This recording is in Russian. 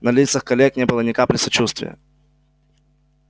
на лицах коллег не было ни капли сочувствия